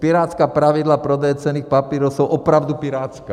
Pirátská pravidla prodeje cenných papírů jsou opravdu pirátská.